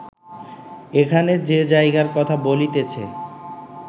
এখানে যে জায়গার কথা বলিতেছি